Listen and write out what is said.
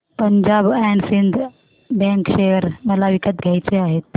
Punjab and Sind bank share मला विकत घ्यायचे आहेत